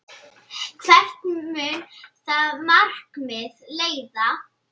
Hvert mun það markmið leiða?